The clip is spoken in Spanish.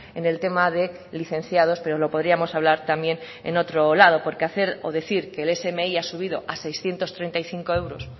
en el tema de licenciado pero lo podríamos hablar también en otro lado porque hacer o decir que el smi ha subido a seiscientos treinta y cinco euros